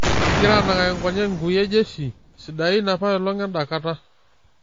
Ekigira anang'aki nkonyek nkuie jesii sidan apailong' enda kata.